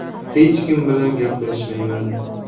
Hech kim bilan gaplashmayman”.